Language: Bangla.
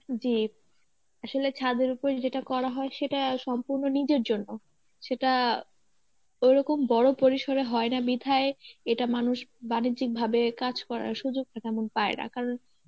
জী আসলে ছাদের উপরে যেটা করা হয় সেটা সম্পূর্ণ নিজের জন্য, সেটা ওরকম বড় পরিসরে হয় না মিথায়ে এটা মানুষ বাণিজ্যিক ভাবে কাজ করার সুযোগটা তেমন পায় না কারণ